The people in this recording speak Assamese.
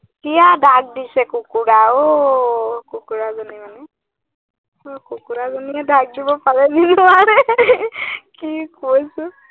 এতিয়া ডাক দিছে কুকুৰাই অ, কুকুৰাজনী মানে কুকুৰাজনীয়ে ডাক দিব পাৰে নেকি, নোৱাৰে কি কৈছো।